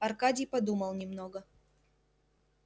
аркадий подумал немного